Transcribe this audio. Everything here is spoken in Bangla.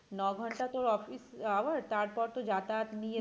নঘন্টা তোর office hour তারপর তো যাতায়াত নিয়ে